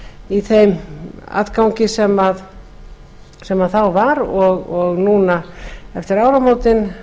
í þeim atgangi sem þá var og núna eftir áramótin